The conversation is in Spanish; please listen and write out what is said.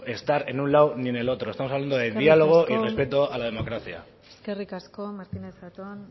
estar en un lado ni en el otro estamos hablando de diálogo eskerrik asko y respeto a la democracia eskerrik asko martínez zatón